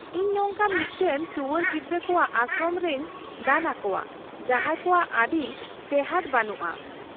-ᱤᱧ ᱱᱚᱝᱠᱟᱱ ᱢᱤᱫᱴᱟᱝ ᱴᱩᱣᱟᱹᱨ ᱜᱤᱫᱽᱨᱟᱹ ᱠᱚᱣᱟᱜ ᱟᱥᱨᱚᱢ ᱨᱮᱧ ᱫᱟᱱ ᱟᱠᱚᱣᱟ ᱡᱟᱦᱟᱸᱭ ᱠᱚᱣᱟᱜ ᱟᱹᱰᱤ ᱴᱮᱦᱟᱸᱲ ᱵᱟᱹᱱᱩᱜᱼᱟ ᱾